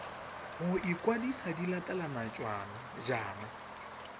go ikwadisa di latelana jaana